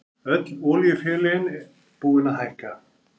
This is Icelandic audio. Öll olíufélögin búin að hækka